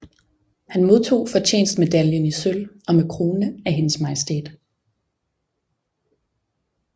Han modtog Fortjenstmedaljen i sølv og med krone af HM